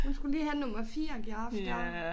Hun skulle lige have nummer 4 giraf dér